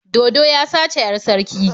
Dodo ya sace 'yar sarki.